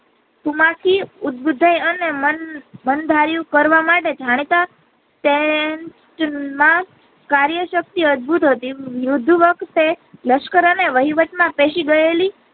કુમસી ઉજ્જય અને મન મન ધાર્યું કરવા માટે જાણતા તેમ માં કાર્ય શક્તિ અદભુત હતી મૂર્ધવર્ક કે લશ્કર અને વહીવટ માં પેસી ગયેલી.